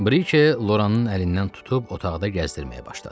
Brike Loranın əlindən tutub otaqda gəzdirməyə başladı.